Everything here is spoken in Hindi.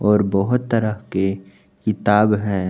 और बहोत तरह के किताब है।